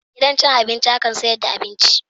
Gidan cin abinci akan sayar da abinci.